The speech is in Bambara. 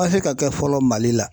ka kɛ fɔlɔ Mali la